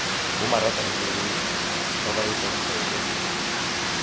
bomaratahelele ba ba etsang feke